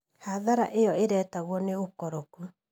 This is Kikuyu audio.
Hathara ĩo ĩretagwa nĩ ũkoroku.